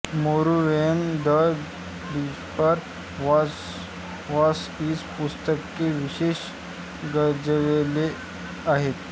Moru when the sleeper wakes इ पुस्तके विशेष गाजलेली आहेत